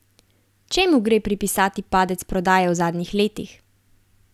Čemu gre pripisati padec prodaje v zadnjih letih?